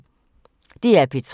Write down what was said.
DR P3